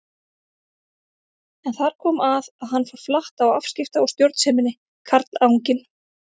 En þar kom að hann fór flatt á afskipta- og stjórnseminni, karlanginn.